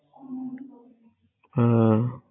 আহ